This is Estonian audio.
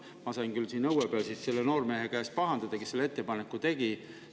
Ma sain siis küll siin õue peal pahandada selle noormehe käest, kes selle ettepaneku tegi.